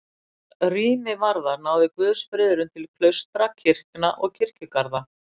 Hvað rými varðar náði guðsfriðurinn til klaustra, kirkna og kirkjugarða.